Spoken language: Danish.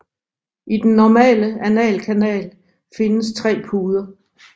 I den normale analkanal findes tre puder